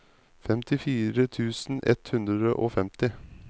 femtifire tusen ett hundre og femti